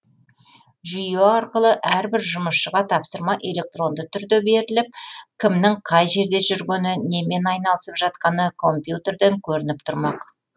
жүйе арқылы әрбір жұмысшыға тапсырма электронды түрде беріліп кімнің қай жерде жүргені немен айналысып жатқаны компьютерден көрініп тұрмақ